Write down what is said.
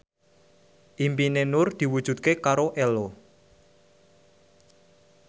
impine Nur diwujudke karo Ello